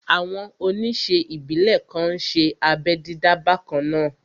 Àwọn oníṣe ìbílè kan n ṣé abẹ́ dídá bakanna